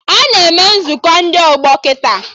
Ana eme Nzukọ ndị ọgbọ kịta